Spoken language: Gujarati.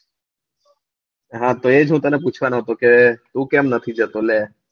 હા તો એજ હું તને પુછવાનો કે તું કેમ નથી જતો લે